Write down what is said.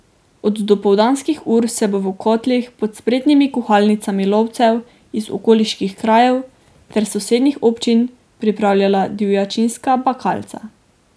Od dopoldanskih ur se bo v kotlih pod spretnimi kuhalnicami lovcev iz okoliških krajev in sosednjih občin pripravljala divjačinska bakalca.